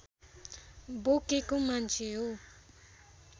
बोकेको मान्छे हो